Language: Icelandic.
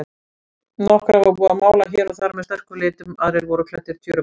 Nokkra var búið að mála hér og þar með sterkum litum, aðrir voru klæddir tjörupappa.